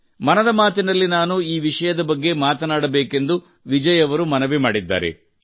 ಮನದ ಮಾತಿನಲ್ಲಿ ನಾನು ಈ ವಿಷಯದ ಬಗ್ಗೆ ಮಾತನಾಡಬೇಕೆಂದು ವಿಜಯ್ ಅವರು ಮನವಿ ಮಾಡಿದ್ದಾರೆ